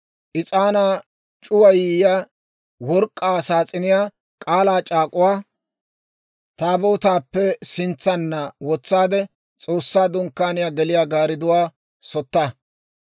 Is'aanaa c'uwayiyaa work'k'aa saas'iniyaa K'aalaa c'aak'uwa Taabootaappe sintsanna wotsaade, S'oossaa Dunkkaaniyaa geliyaa gaaridduwaa sotta.